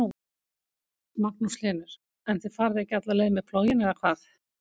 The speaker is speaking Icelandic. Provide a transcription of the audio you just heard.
Magnús Hlynur: En þið farið ekki alla leið með plóginn eða hvað?